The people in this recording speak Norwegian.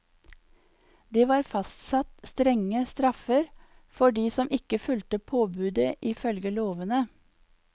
Det var fastsatt strenge straffer for de som ikke fulgte påbudet i følge lovene.